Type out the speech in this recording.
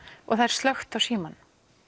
og slökkt á símanum